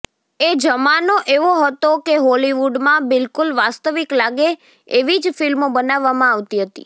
એ જમાનો એવો હતો કે હોલિવૂડમાં બિલકુલ વાસ્તવિક લાગે એવી જ ફિલ્મો બનાવવામાં આવતી હતી